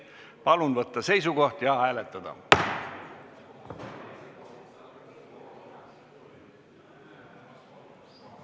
Palun võtta seisukoht ja hääletada!